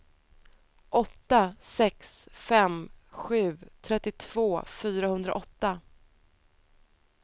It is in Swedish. åtta sex fem sju trettiotvå fyrahundraåtta